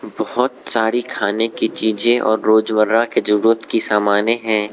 बहोत सारी खाने की चीजें और रोजमर्रा की जरूरत की सामनें हैं।